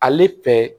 Ale fɛ